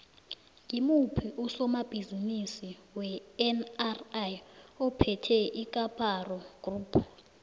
ngimuphi usomabhizimisi wenri ophethe icaparo group